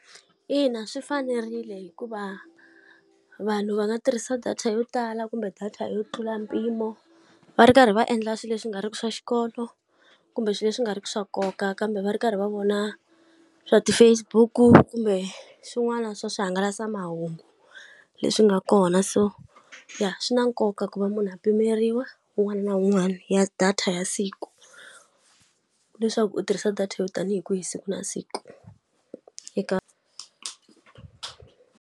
Ina swi fanerile hikuva vanhu va nga tirhisa data yo tala kumbe data yo tlula mpimo, va ri karhi va endla swilo leswi nga ri ki swa xikolo, kumbe swilo leswi nga ri ki swa nkoka kambe va ri karhi va vona swa ti-Facebook-u kumbe swin'wana swa swihangalasamahungu leswi nga kona. So ya swi na nkoka ku va munhu a pimeriwa un'wana na un'wana ya data ya siku, leswaku u tirhisa data yo tanihi kwihi siku na siku. Eka.